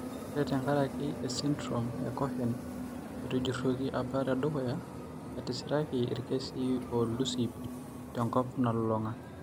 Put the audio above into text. Ore tenkaraki esindirom eCohen etujuruoki apa tedukuya, etisiraki irkesii oolus ip tenkop nalulung'a.